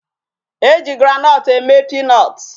E ji groundnut eme peanut.